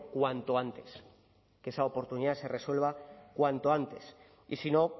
cuanto antes que esa oportunidad se resuelva cuanto antes y si no